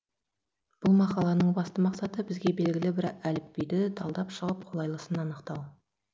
бұл мақаланың басты мақсаты бізге белгілі әр әліпбиді талдап шығып қолайлысын анықтау